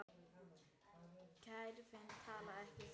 Kerfin tala ekki saman.